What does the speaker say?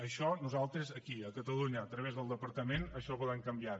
això nosaltres aquí a catalunya a través del departament això ho volem canviar